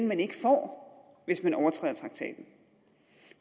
man ikke får hvis man overtræder traktaten